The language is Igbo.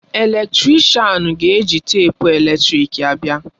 Eletrịshan ga-eji teepu eletrịk ya abịa.